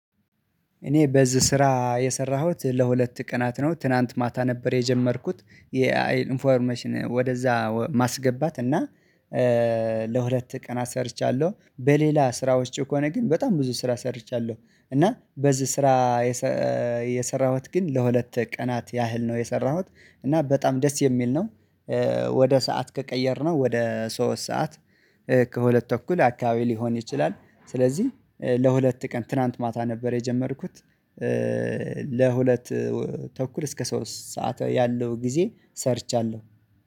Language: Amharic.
እኔ በዚህ ስራ የሰራሁት ለሁለት ቀናት ነው ትላንት ማታ ነበር የጀመርኩት የኢንፎርሜሽን ወደዛ ማስገባት እና። ለሁለት ቀን አሰርቻለሁ በሌላ ስራዎች ከሆን ግን በጣም ብዙ ስራ ሰርቻለሁ። እና በዚህ ስራ የሰራሁት ግን ለሁለት ቀናት ያህል ነው የሰራሁት እና በጣም ደስ የሚል ነው። ወደ ሰዓት ከቀየርነው ወደ ሶስት ሰዓት ከሁለት ተኩል አካባቢ ሊሆን ይችላል። ስለዚህ ለሁለት ቀን ትላንት ማታ ነበር የጀመርኩት። ለሁለት ተኩል እስከ ሶስት ሰዓት ያለው ጊዜ ሰርቻለሁ